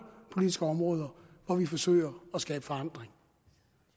politiske områder hvor vi forsøger at skabe forandring